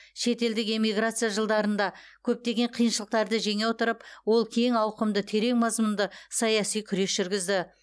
шетелдік эмиграция жылдарында көптеген қиыншылықтарды жеңе отырып ол кең ауқымды терең мазмұнды саяси күрес жүргізді